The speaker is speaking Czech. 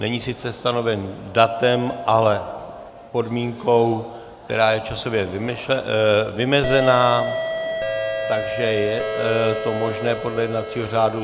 Není sice stanoven datem, ale podmínkou, která je časově vymezená, takže je to možné podle jednacího řádu.